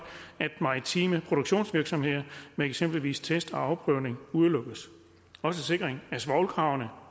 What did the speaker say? at maritime produktionsvirksomheder med eksempelvis test og afprøvning udelukkes også sikringen af svovlkravene